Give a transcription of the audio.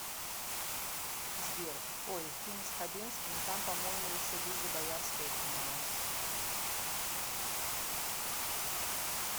сбер ой фильм с хабенским и там по моему еще лиза боярская снималась